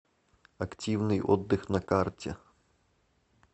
активный отдых на карте